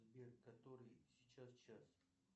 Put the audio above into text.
сбер который сейчас час